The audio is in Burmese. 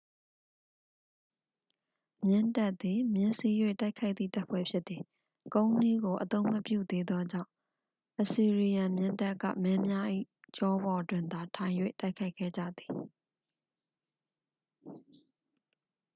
မြင်းတပ်သည် မြင်းစီး၍ တိုက်ခိုက်သည့် တပ်ဖွဲ့ဖြစ်သည် ကုန်းနှီးကို အသုံးမပြုသေးသောကြောင့် အစီရီယန်မြင်းတပ်က မင်းများ၏ ကျောပေါ်တွင်သာ ထိုင်၍ တိုက်ခိုက်ခဲ့ကြသည်